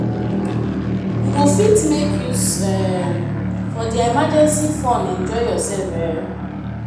You go fit make use um of their emergency fund enjoy yourself um